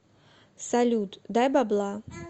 салют дай бабла